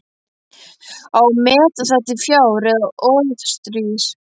Á að meta það til fjár eða orðstírs?